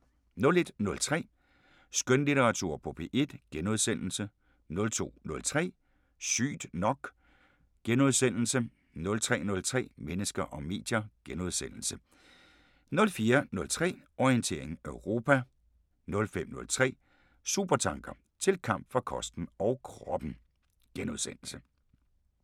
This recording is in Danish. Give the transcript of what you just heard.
01:03: Skønlitteratur på P1 * 02:03: Sygt nok * 03:03: Mennesker og medier * 04:03: Orientering Europa 05:03: Supertanker: Til kamp for kosten og kroppen *